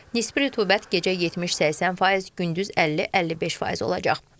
Nisbi rütubət gecə 70-80%, gündüz 50-55% olacaq.